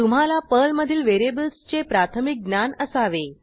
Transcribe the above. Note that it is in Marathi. तुम्हाला पर्लमधील व्हेरिएबल्सचे प्राथमिक ज्ञान असावे